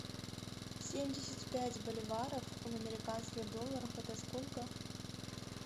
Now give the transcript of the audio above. семьдесят пять боливаров в американских долларах это сколько